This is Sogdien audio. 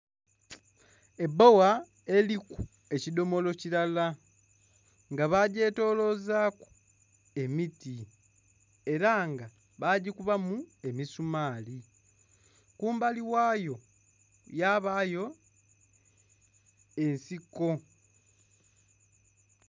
Ebbowa eriku eki dhomolo kilala nga ba gye tolozaku emiti era nga bagikubamu emisumaali, kumbali ghayo yabayo ensiko.